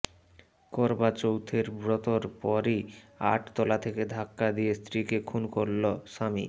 করবা চৌথের ব্রতর পরই আট তলা থেকে ধাক্কা দিয়ে স্ত্রীকে খুন করল স্বামী